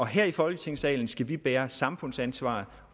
her i folketingssalen skal vi bære samfundsansvaret